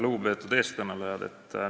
Lugupeetud eelkõnelejad!